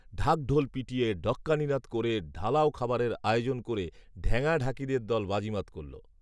ঢাকঢোল পিটিয়ে, ঢক্কানিনাদ করে, ঢালাও খাবারের আয়োজন করে ঢ্যাঙা ঢাকিদের দ‍‍‍ল বাজিমাত করল